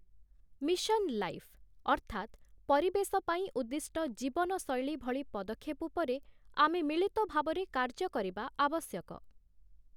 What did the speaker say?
Mission life', ଅର୍ଥାତ୍‌ 'ପରିବେଶ ପାଇଁ ଉଦ୍ଦିଷ୍ଟ ଜୀବନଶୈଳୀ' ଭଳି ପଦକ୍ଷେପ ଉପରେ ଆମେ ମିଳିତ ଭାବରେ କାର୍ଯ୍ୟ କରିବା ଆବଶ୍ୟକ ।